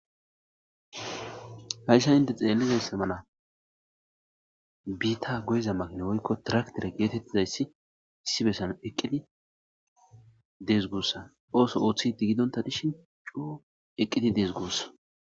Hayssan inte xelizayssa mala bitta goyiza makina woyikko traketere getetizayssi issi bessan eqidi des gussa oththo oththidi gidonta dishin coo eqidi dess gusa